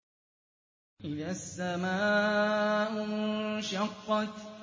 إِذَا السَّمَاءُ انشَقَّتْ